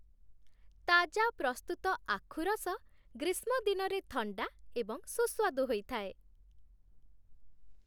ତାଜା ପ୍ରସ୍ତୁତ ଆଖୁ ରସ ଗ୍ରୀଷ୍ମ ଦିନରେ ଥଣ୍ଡା ଏବଂ ସୁସ୍ୱାଦୁ ହୋଇଥାଏ।